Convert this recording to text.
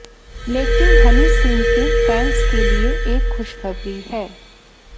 लेकिन हनी सिंह के फैन्स के लिए एक खुशखबरी है